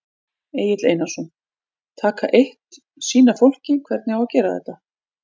Egill Einarsson: Taka eitt, sýna fólki hvernig á að gera þetta?